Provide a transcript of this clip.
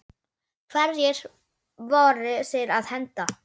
Hverju voru þeir að henda?